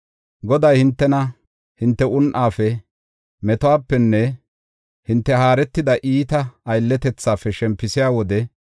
Goday hintena, hinte un7aafe, metuwapenne hinte haaretida iita aylletethaafe shempisiya wode,